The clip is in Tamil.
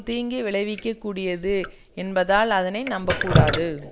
தீங்கு விளைவிக்க கூடியது என்பதால் அதனை நம்பக் கூடாது